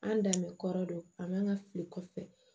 An dan bɛ kɔrɔ don an man ka fili kɔfɛ